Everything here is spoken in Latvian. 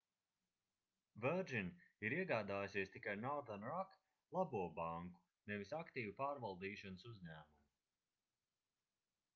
virgin ir iegādājusies tikai northern rock labo banku nevis aktīvu pārvaldīšanas uzņēmumu